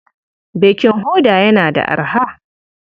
Bakin hoda yana da arha.